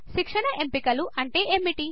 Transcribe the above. శిక్షణ ఎంపికలు అంటే ఏమిటి160